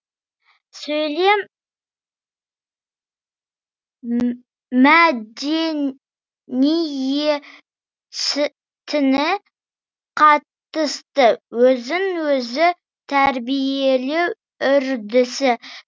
сөйлем мәдениетіне қатысты өзін өзі тәрбиелеу үрдісі